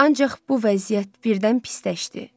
Ancaq bu vəziyyət birdən pisləşdi.